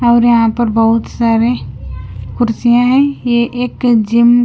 और यहां पर बहुत सारे कुर्सियां हैं ये एक जिम --